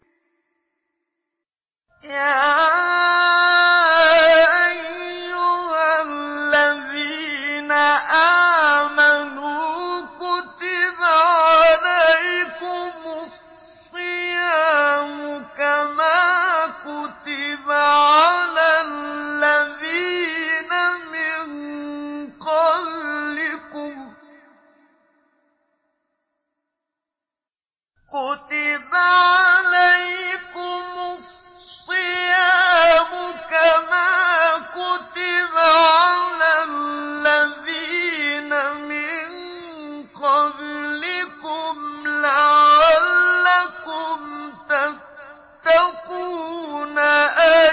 يَا أَيُّهَا الَّذِينَ آمَنُوا كُتِبَ عَلَيْكُمُ الصِّيَامُ كَمَا كُتِبَ عَلَى الَّذِينَ مِن قَبْلِكُمْ لَعَلَّكُمْ تَتَّقُونَ